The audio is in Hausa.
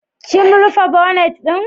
Kim rufe bonet ɗin?